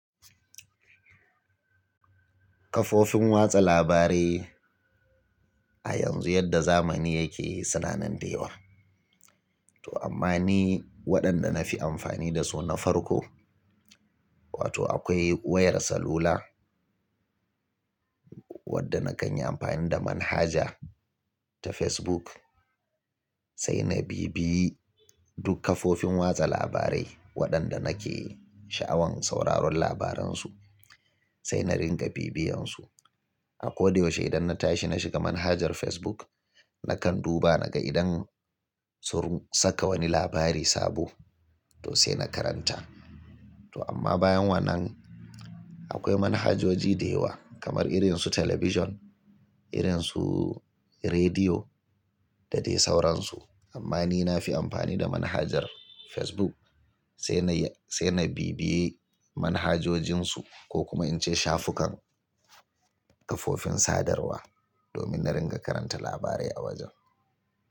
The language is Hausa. Kafofin watsa labarai a yanzu yadda zamani yake suna nan da yawa. To amma ni waɗanda na fi amfani da su na farko, wato akwai wayar salula wadda na kanyi anfani da manhaja ta Facebook, sai na bibiyi duk kafofin watsa labarai waɗanda nake sha'awan sauraron labaran su, sai na ringa bibiyan su. A ko da yaushe idan na tashi na shiga manhajar Facebook, nakan duba naga idan sun saka wani labari sabo to sai na karanta. To amma bayan wannan akwai manhajoji da yawa kamar irin su talabijin, irin su rediyo da dai sauransu. Amma ni na fi amfani da manhajar Facebook sai na yi, sai na bibiye manhajojin su ko kuma in ce shafukan kafofin sadarwa domin na ringa karanta labarai a wajen.